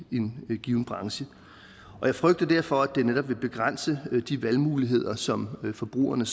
i en given branche jeg frygter derfor at det netop vil begrænse de valgmuligheder som forbrugerne